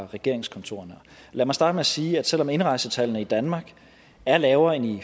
regeringskontorerne lad mig starte med at sige at selv om indrejsetallene i danmark er lavere end i